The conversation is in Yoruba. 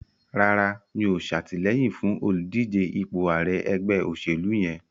Rárá, mi ò ṣàtìlẹyìn fún olùdíje ipò ààrẹ ẹgbẹ́ òṣèlú yẹn.